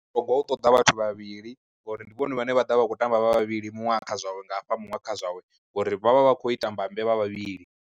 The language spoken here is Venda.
Togwa u ṱoḓa vhathu vhavhili ngori ndi vhone vhane vha ḓovha vha kho tamba vha vhavhili muṅwe a kha zwawe nga hafha muṅwe a kha zwawe, ngori vha vha vha khou ita mbambe vha vha vhavhili.